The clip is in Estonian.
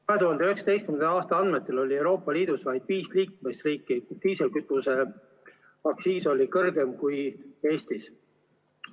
2019. aasta andmetel oli Euroopa Liidus vaid viis liikmesriiki, kus diislikütuse aktsiis oli kõrgem kui Eestis.